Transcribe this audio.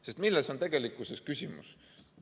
Sest milles on tegelikkuses küsimus?